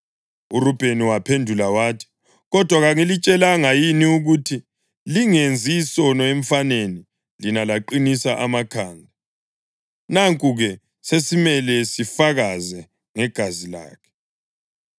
URubheni waphendula wathi, “Kodwa kangilitshelanga yini ukuthi lingenzi isono emfaneni lina laqinisa amakhanda? Nanku-ke sesimele sifakaze ngegazi lakhe.”